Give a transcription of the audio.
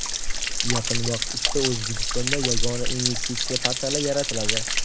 Yaqin vaqt ichida O‘zbekistonda Yagona investitsiya portali yaratiladi.